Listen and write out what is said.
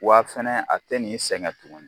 Wa a fɛnɛ a tɛ nin sɛgɛn tuguni